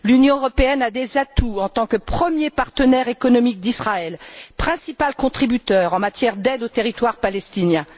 L'Union européenne a des atouts en tant que premier partenaire économique d'Israël et principal contributeur en matière d'aide aux territoires palestiniens.